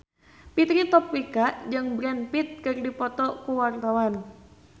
Fitri Tropika jeung Brad Pitt keur dipoto ku wartawan